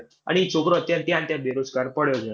અને ઈ છોકરો અત્યારે ત્યાંને ત્યાં બેરોજગાર પડયો છે.